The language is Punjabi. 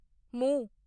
ਮੂੰਹ